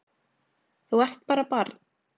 Þú ert bara barn.